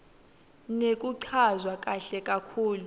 nekuchazwa kahle kakhulu